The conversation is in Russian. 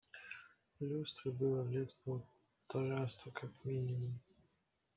люстре было лет полтораста как минимум